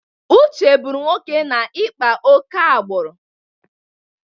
Uche bụrụ nwoke na-ịkpa ókè agbụrụ.